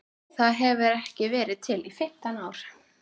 Það hefur ekki verið til í fimmtán ár!